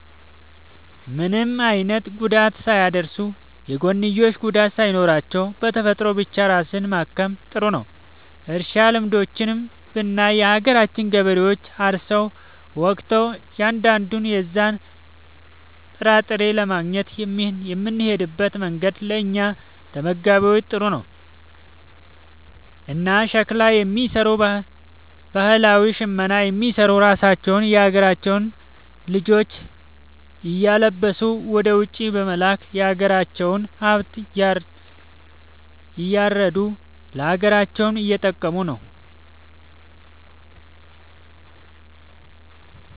ምንም አይነት ጉዳት ሳያደርሱ፣ የጎንዮሽ ጉዳት ሳይኖራቸው፣ በተፈጥሮ ብቻ ራስን ማከም ጥሩ ነዉ። እርሻ ልምዶችንም ብናይ የሀገራችን ገበሬዎች አርሰው ወቅተው እያንዳንዱን የዛን ጥራጥሬ ለማግኘት የሚሄድበት መንገድ ለእኛ ለተመጋቢዎች ጥሩ ነው። እና ሸክላ የሚሰሩ ባህላዊ ሽመና የሚሰሩ ራሳቸውን የሀገራቸውን ልጆች እያለበሱ ወደ ውጪ በመላክ የሀገራቸውን ሃብት እያረዱ ለሀገራቸውም እየጠቀሙ ነው ማለት።